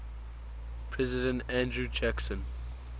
president andrew jackson